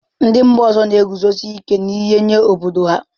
Ndị mba ọzọ na-eguzosi ike n'ihe nye obodo ha.